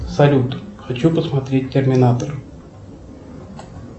салют хочу посмотреть терминатор